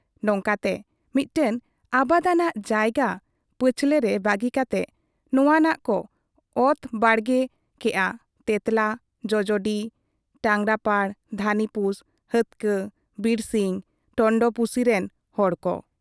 ᱱᱚᱝᱠᱟᱛᱮ ᱢᱤᱫᱴᱟᱹᱝ ᱟᱵᱟᱫᱟᱱᱟᱜ ᱡᱟᱭᱜᱟ ᱯᱟᱹᱪᱷᱞᱟᱹ ᱨᱮ ᱵᱟᱹᱜᱤ ᱠᱟᱛᱮ ᱱᱚᱶᱟᱱᱟᱜ ᱠᱚ ᱚᱛ ᱵᱟᱲᱜᱮ ᱠᱮᱜ ᱟ ᱛᱮᱸᱛᱞᱟ, ᱡᱚᱡᱚᱰᱤ, ᱴᱟᱸᱜᱽᱨᱟᱯᱟᱲ, ᱫᱷᱟᱹᱱᱤᱯᱩᱥ, ᱦᱟᱹᱛᱠᱟᱹ, ᱵᱤᱨᱥᱤᱧ, ᱴᱚᱱᱴᱚᱲᱯᱩᱥᱤ ᱨᱮᱱ ᱦᱚᱲ ᱠᱚ ᱾